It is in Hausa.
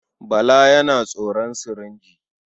Bala yana tsoron sirinji.